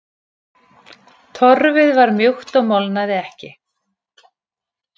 Torfið var mjúkt og molnaði ekki.